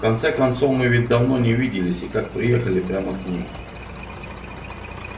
в конце концов мы ведь давно не виделись и как приехали прямо к ней